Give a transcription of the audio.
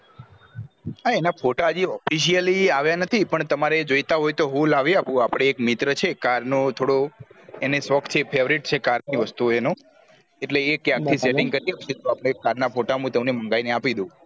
હા એના photo હજી officially આવ્યા નથી પણ તમને જોવતા હોય તો હું લાયી આપું અપડે એક મિત્ર છે car નો અને થોડો શોખ છે favourite છે car ની વસ્તુ ઓની એટલે એ ક્યાય્ક થી setting કરી આપશે car ના photo હું તમને મંગાઈ ને આપી દાવ